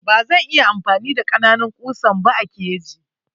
Bazan iya amfani da kananun kusan ba a keji.